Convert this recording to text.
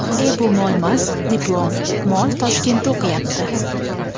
E bu molmas, diplom, mol Toshkentda, o‘qiyapti!.